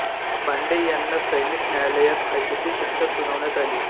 पांडे यांना सैनिक न्यायालयात फाशीची शिक्षा सुनावण्यात आली